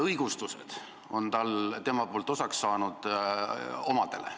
Omadele on tema poolt osaks saanud pidevad õigustused.